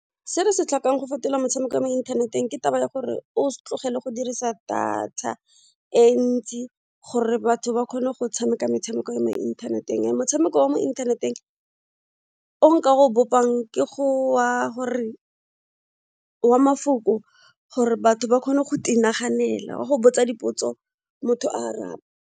Se re se tlhokang go fetola motshameko wa mo inthaneteng ke taba ya gore o tlogele go dirisa data e ntsi gore batho ba kgone go tshameka metshameko ya mo inthaneteng ya motshameko wa mo teng o nka o bopang ke go wa mafoko gore batho ba kgone go naganela wa go botsa dipotso motho a araba.